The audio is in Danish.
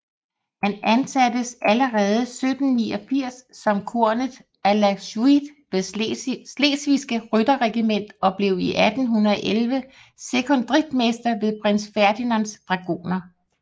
Han ansattes allerede 1789 som kornet à la suite ved Slesvigske Rytterregiment og blev 1811 sekondritmester ved Prins Ferdinands Dragoner